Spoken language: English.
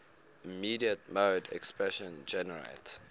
immediate mode expression generates